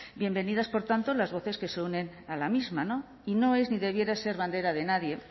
bienvenidas por tanto las voces que se unen a la misma y no es ni debiera ser bandera de nadie